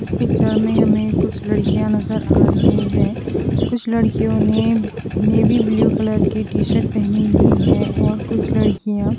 इस पिक्चर में हमें कुछ लड़कियां नजर आ रही हैं कुछ लड़कियों ने नेवी ब्लू कलर की टी शर्ट पहनी हुई है और कुछ लड़कियां--